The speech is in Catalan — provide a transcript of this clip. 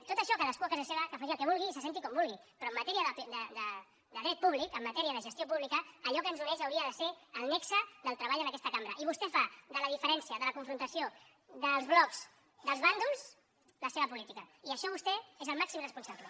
tot això cadascú a casa seva que faci el que vulgui i se senti com vulgui però en matèria de dret públic en matèria de gestió pública allò que ens uneix hauria de ser el nexe del treball en aquesta cambra i vostè fa de la diferència de la confrontació dels blocs dels bàndols la seva política i d’això vostè n’és el màxim responsable